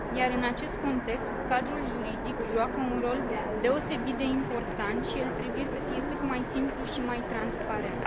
În acest context, cadrul juridic joacă un rol deosebit de important, și el trebuie să fie cât mai simplu și mai transparent.